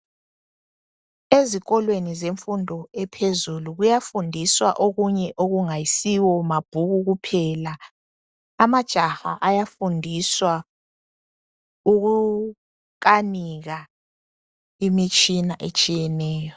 Ezikolweni zemfundo ephezulu kuyafundiswa okunye okungayisiwo mabhuku kuphela, amajaha ayafundiswa ukukanika imitshina etshiyeneyo.